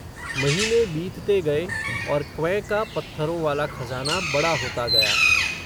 महीने बीतते गए, और क्वैं का पत्थरों वाला खज़ाना, बड़ा होता गया